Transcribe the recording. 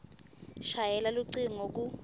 shayela lucingo ku